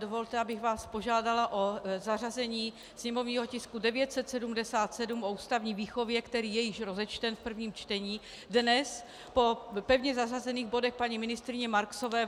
Dovolte, abych vás požádala o zařazení sněmovního tisku 977, o ústavní výchově, který je již rozečten v prvním čtení, dnes po pevně zařazených bodech paní ministryně Marksové.